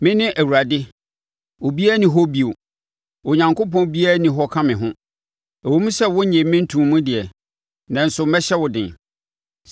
Mene Awurade, obiara nni hɔ bio; Onyankopɔn biara nni hɔ ka me ho. Ɛwom sɛ wonnyee me ntoo mu deɛ, nanso mɛhyɛ wo den,